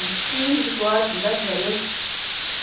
Um físico ótimo, graças a Deus.